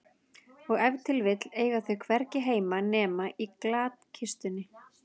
Og ef til vill eiga þau hvergi heima nema í glatkistunni.